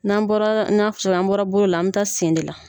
N'an bɔra i n'a cogo min an bɔra bolo la an bɛ taa sen de la.